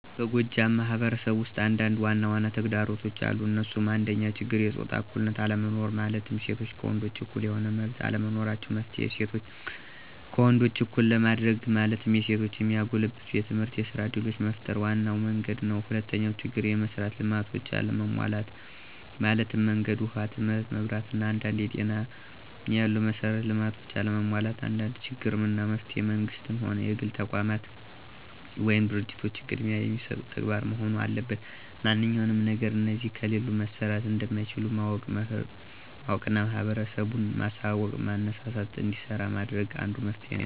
በጎጃም ማህበረሰብ ውስጥ አንዳንድ ዋናዋና ተግዳሮቶች አሉ እንሱም፦ አንደኛው ችግር የጾታ እኩልነት አለመኖር ማለትም ሴቶች ከወንዶች እኩል የሆነ መመብት አለመኖራቸው። መፍትሔ :እሴቶችን ከወንዶች እኩል ለማድርግ ማለትም የሴቶችን የሚያጎለብቱ የትምህርትና የስራ እድሎችን መፍጠር ዋናው መንግድ ነው። ሁለተኛው ችግር፦ የመሥራት ልማቶች አለመሟላት ማለትም መንገድ፣ ውሃ ትምህርት፣ መብራት አና አንደ ጤና ያሉ መሠራት ልማቶች አለመሟላት አንዱ ችግር ነው። መፍትሔ መንግስትም ሆነ የግል ተቋማት ወይም ድርጂቶች ቅድሚያ የሚሰጡት ተግባር መሆን አለበት ማንኛውም ነገር እነዚህ ከሌሉ መሠራት እንደማይቻል ማወቅና ህብረተሰቡን ማሳውቅና ማነሳሳትና እንዲሰራ ማድረግ አንዱ መፍትሔ ነው።